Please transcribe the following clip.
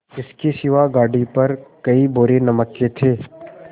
इसके सिवा गाड़ी पर कई बोरे नमक के थे